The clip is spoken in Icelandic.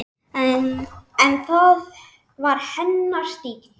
En það var hennar stíll.